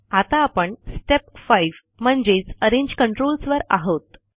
आता आपण स्टेप 5 म्हणजेचArrange controlsवर आहोत